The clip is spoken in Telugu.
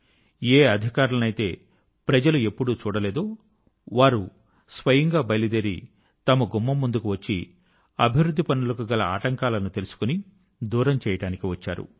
ఏ అధికారులనైతే ప్రజలు ఎప్పుడూ చూడలేదో వారు స్వయం గా బయలుదేరి తమ గుమ్మం ముందుకు వచ్చి అభివృద్ధి పనుల కు గల ఆటంకాలను తెలుసుకొని దూరం చేయడానికి వచ్చారు